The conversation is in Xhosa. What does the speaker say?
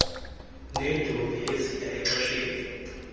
neentombi eziya exesheni